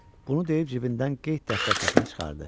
Bunu deyib cibindən qeyd dəftərçəsini çıxartdı.